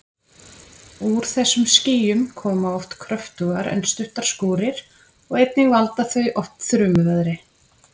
Úr þessum skýjum koma oft kröftugar en stuttar skúrir og einnig valda þau oft þrumuveðri.